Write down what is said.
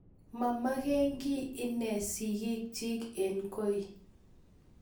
Mamekengiy inne sikiik chi eng koii.